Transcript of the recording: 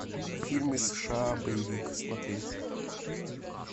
фильмы сша боевик смотреть